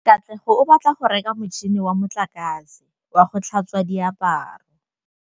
Katlego o batla go reka motšhine wa motlakase wa go tlhatswa diaparo.